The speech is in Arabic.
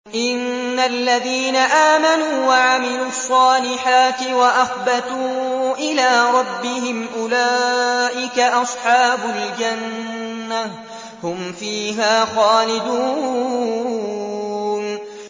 إِنَّ الَّذِينَ آمَنُوا وَعَمِلُوا الصَّالِحَاتِ وَأَخْبَتُوا إِلَىٰ رَبِّهِمْ أُولَٰئِكَ أَصْحَابُ الْجَنَّةِ ۖ هُمْ فِيهَا خَالِدُونَ